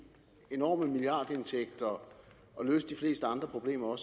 enorme milliardindtægter og løse de fleste andre problemer